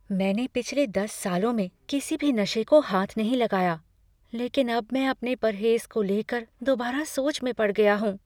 मैंने पिछले दस सालों में किसी भी नशे को हाथ नहीं लगाया, लेकिन अब मैं अपने परहेज़ को लेकर दोबारा सोच में पड़ गया हूँ।